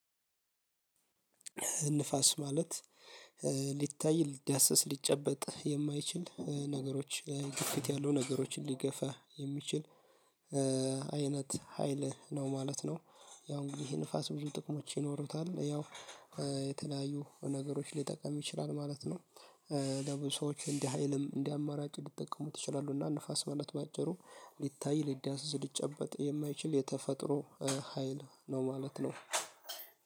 ንፋስ ማለት ሊታይ ሊዳሰስ ሊጨበጥ የማይችል ነገሮች ግፊት ያሉ ነገሮችን ሊገፋ የሚችል አይነት ሀይል ነው ማለት ነው። ያው እንግዲህ ይሄ ንፋስ ብዙ ጥቅሞች ይኖሩታል ያው የተለያዩ ነገሮች ሊጠቀም ይችላል ማለት ነው። ለብዙ ሰዎች እንዲህ ሀይልም እንዲህ አማራጭ ሊጠቀሙት ይችላሉ። እና ንፋስ ማለት በአጭሩ ሊታይ ሊዳሰስሊጨበጥ የማይችል የተፈጥሮ ሀይል ነው ማለት ነው።